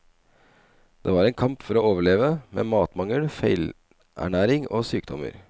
Det var en kamp for å overleve, med matmangel, feilernæring og sykdommer.